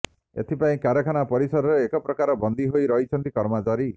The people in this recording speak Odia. ଏଥିପାଇଁ କାରଖାନା ପରିସରରେ ଏକପ୍ରକାର ବନ୍ଦୀ ହୋଇ ରହିଛନ୍ତି କର୍ମଚାରୀ